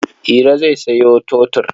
Iro zai sayo totur.